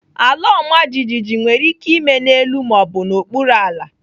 Alaọmajijiji nwere ike ime n'elu ma ọ bụ n'okpuru ala.